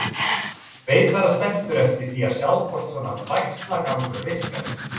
Beið bara spenntur eftir að sjá hvort svona bægslagangur virkaði.